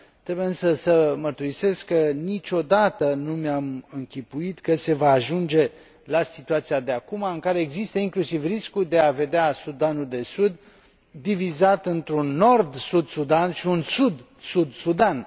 Trebuie, însă, să mărturisesc că niciodată nu mi am închipuit că se va ajunge la situația de acuma, în care există inclusiv riscul de a vedea Sudanul de Sud divizat într un Nord Sud Sudan și un Sud Sud Sudan.